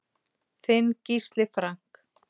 Þinn Gísli Frank.